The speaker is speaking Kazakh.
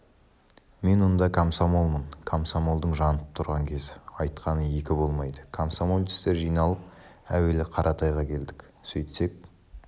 мен онда комсомолмын комсомолдың жанып тұрған кезі айтқаны екі болмайды комсомолецтер жиналып әуелі қаратайға келдік сөйтсек